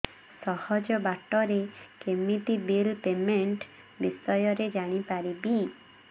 ସହଜ ବାଟ ରେ କେମିତି ବିଲ୍ ପେମେଣ୍ଟ ବିଷୟ ରେ ଜାଣି ପାରିବି